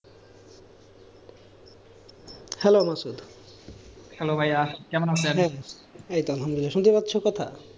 শুনতে পারছো কথা,